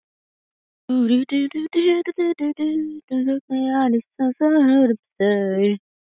Emil fannst þetta lengsta bið sem hann hafði upplifað.